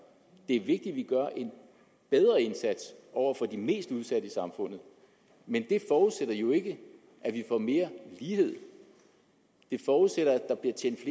det er vigtigt at vi gør en bedre indsats over for de mest udsatte i samfundet men det forudsætter jo ikke at vi får mere lighed det forudsætter